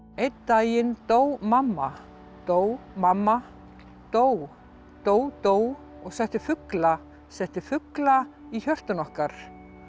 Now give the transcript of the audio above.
einn daginn dó mamma dó mamma dó dó dó og setti fugla setti fugla í hjörtun okkar